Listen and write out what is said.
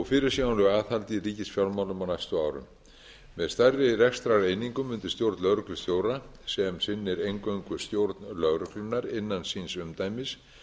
fyrirsjáanlegu aðhaldi í ríkisfjármálum á næstu árum með stærri rekstrareiningum undir stjórn lögreglustjóra sem sinnir eingöngu stjórn lögreglunnar innan síns umdæmis